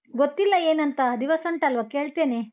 ಗೊತ್ತಿಲ್ಲ ಏನಂತ ದಿವಸ ಉಂಟಲ್ವಾ ಕೇಳ್ತೇನೆ.